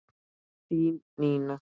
Þín Nína.